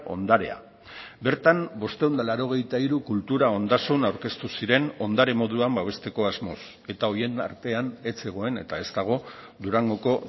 ondarea bertan bostehun eta laurogeita hiru kultura ondasun aurkeztu ziren ondare moduan babesteko asmoz eta horien artean ez zegoen eta ez dago durangoko